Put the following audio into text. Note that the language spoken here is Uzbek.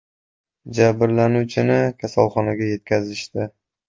Jabrlanuvchini kasalxonaga yetkazishdi.